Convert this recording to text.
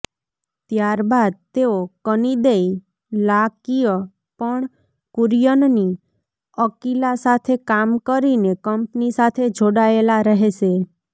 ત્યારબાદ તેઓ કનિદૈ લાકિઅ પણ કુરિયનની અકિલા સાથે કામ કરીને કંપની સાથે જોડાયેલા રહેશે